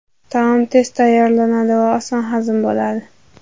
Taom tez tayyorlanadi va oson hazm bo‘ladi.